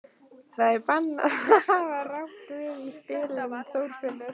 Það er bannað að hafa rangt við í spilum, Þorfinnur.